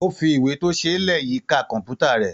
Ó fi ìwé tó ṣe é lẹ̀ yíká kọ́m̀púta rẹ̀.